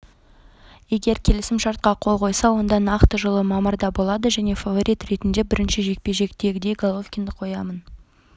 егер келісімшартқа қол қойса онда нақты жылы мамырда болады мен фаворит ретінде бірінші жекпе-жектегідей головкинді қоямын